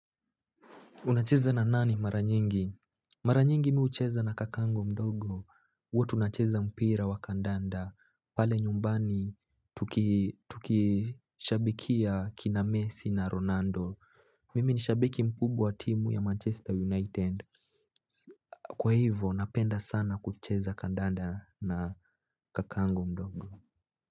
Unacheza na nani mara nyingi? Mara nyingi mi hucheza na kakangu mdogo. Huwa tunacheza mpira wa kandanda. Pale nyumbani tukishabikia kina Messi na Ronaldo. Mimi ni shabiki mkubwa wa timu ya Manchester United. Kwa hivo napenda sana kucheza kandanda na kakangu mdogo.